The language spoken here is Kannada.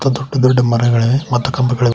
ದೊಡ್ಡ ದೊಡ್ಡ ಮರಗಳಿವೆ ಮತ್ತು ಕಂಬಗಳಿ--